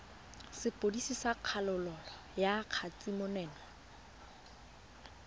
sepodisi sa kgololo ya kgatisomenwa